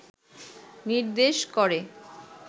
নির্দেশ করে